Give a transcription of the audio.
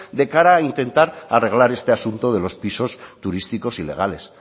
de cara a intentar arreglar este asunto de los pisos turísticos ilegales